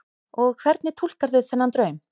Og hvernig túlkarðu þennan draum?